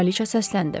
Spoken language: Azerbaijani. Kraliçə səsləndi.